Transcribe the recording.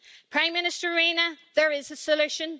Prime Minister Rinne, there is a solution.